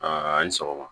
a' ni sɔgɔma